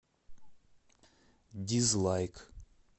дизлайк